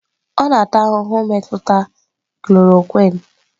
Ọ na-ata ahụhụ mmetụta chloroquine.